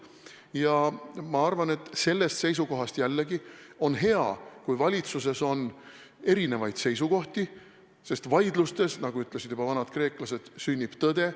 Ja ma arvan, et sellest seisukohast jällegi on hea, kui valitsuses on erinevaid seisukohti, sest vaidlustes, nagu ütlesid juba vanad kreeklased, sünnib tõde.